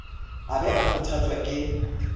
a ba a kgothotswa ke